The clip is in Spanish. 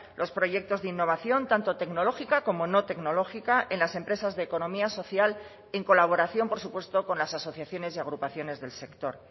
los proyectos de innovación tanto tecnológica como no tecnológica en las empresas de economía social en colaboración por supuesto con las asociaciones y agrupaciones del sector